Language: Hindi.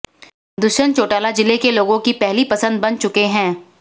दुष्यंत चौटाला जिले के लोगों की पहली पसंद बन चुके हैं